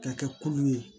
Ka kɛ kulu ye